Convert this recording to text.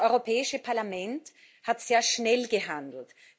Das Europäische Parlament hat sehr schnell gehandelt.